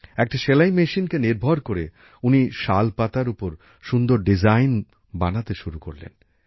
একটা সেলাই মেশিনকে নির্ভর করে উনি শাল পাতার ওপর সুন্দর নকশা আঁকতে শুরু করলেন